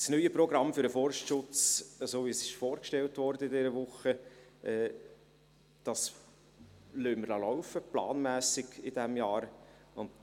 Das neue Programm für den Forstschutz, welches diese Woche vorgestellt wurde, lassen wir in diesem Jahr planmässig laufen.